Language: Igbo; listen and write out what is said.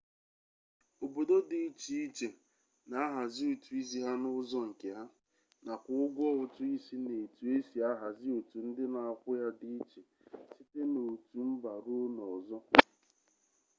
obodo di iche iche na-ahazi ụtụ isi ha n'ụzọ nke ha nakwa ụgwọ ụtụ isi na etu e si ahazi otu ndị na-akwụ ya dị iche site n'otu mba ruo n'ọzọ